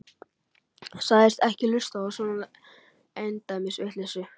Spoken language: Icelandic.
Sagðist ekki hlusta á svona endemis vitleysu.